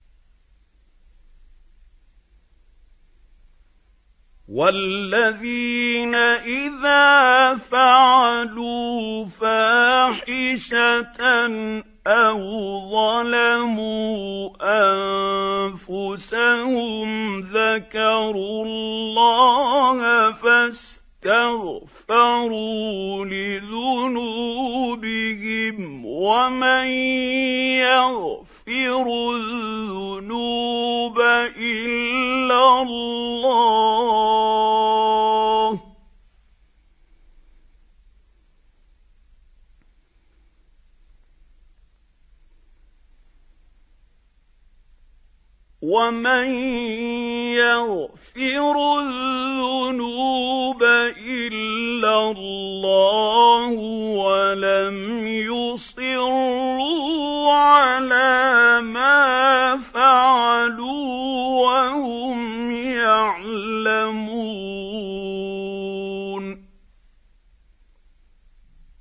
وَالَّذِينَ إِذَا فَعَلُوا فَاحِشَةً أَوْ ظَلَمُوا أَنفُسَهُمْ ذَكَرُوا اللَّهَ فَاسْتَغْفَرُوا لِذُنُوبِهِمْ وَمَن يَغْفِرُ الذُّنُوبَ إِلَّا اللَّهُ وَلَمْ يُصِرُّوا عَلَىٰ مَا فَعَلُوا وَهُمْ يَعْلَمُونَ